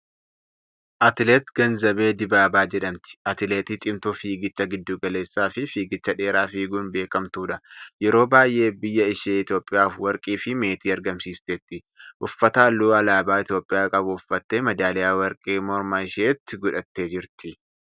Atileet Ganzabee Dibaabaa jedhamti. Atileetii cimtuu fiigicha giddu galeessaa fi fiigicha dheeraa fiiguun beekamtuudha. Yeroo baay'ee biyya ishee Itoophiyaaf warqii fi meetii argamsiifteetti. Uffata halluu alaabaa Itoophiyaa qabu uffattee meedaaliyaa warqee morma isheetti godhattee jirti.